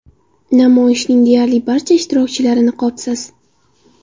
Namoyishning deyarli barcha ishtirokchilari niqobsiz.